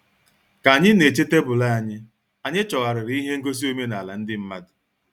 Ka anyị na-eche tebụl anyị, anyị chọgharịrị ihe ngosi omenala ndị mmadụ.